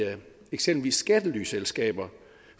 eksempelvis skattelyselskaber